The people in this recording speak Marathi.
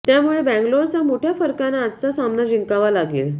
त्यामुळे बॅंगलोरचा मोठ्या फरकानं आजचा सामना जिंकावा लागेल